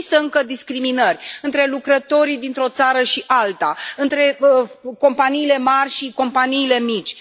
Există încă discriminări între lucrătorii dintr o țară și alta, între companiile mari și companiile mici.